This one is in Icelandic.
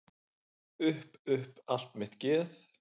Upp upp allt mitt geð.